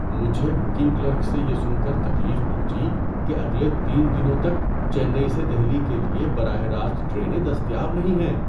مجھے booking clerk سے یہ سن کر تکلیف پہنچی کہ اگلے تین دنوں تک چنئی سے دہلی کے لیے براہ راست ٹرینیں دستیاب نہیں ہیں۔